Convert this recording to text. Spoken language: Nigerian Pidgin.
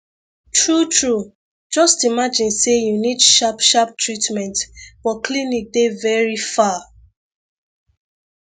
true true just imagine say you need sharp sharp treatment but clinic dey very far